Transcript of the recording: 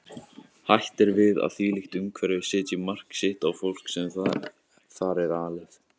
Hætt er við að þvílíkt umhverfi setji mark sitt á fólkið sem þar er alið.